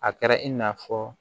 A kɛra i n'a fɔ